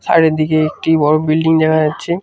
Side -এর দিকে একটি বড় বিল্ডিং দেখা যাচ্ছে।